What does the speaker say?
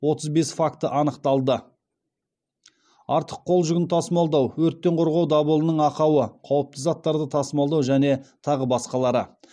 отыз бес факті анықталды